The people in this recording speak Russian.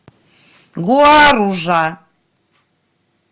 гуаружа